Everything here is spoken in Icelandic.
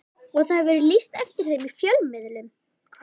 Og það hefur verið lýst eftir þeim í fjölmiðlum.